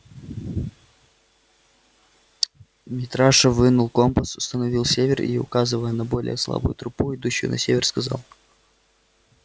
митраша вынул компас установил север и указывая на более слабую трупу идущую на север сказал